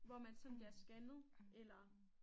Hvor man sådan bliver scannet eller